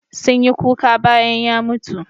Sun yi kuka bayan ya mutu.